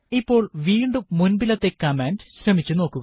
ഇപ്പോൾ വീണ്ടും മുൻപിലത്തെ കമാൻഡ് ശ്രമിച്ചു നോക്കുക